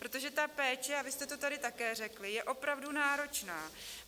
Protože ta péče, a vy jste to tady také řekli, je opravdu náročná.